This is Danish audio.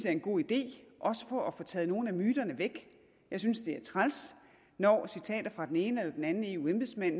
er en god idé også for at få taget nogle af myterne væk jeg synes det er træls når citater fra den ene eller den anden eu embedsmand